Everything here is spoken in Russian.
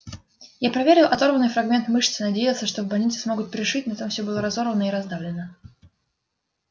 я проверил оторванный фрагмент мышцы надеялся что в больнице смогут пришить но там все было разорвано и раздавлено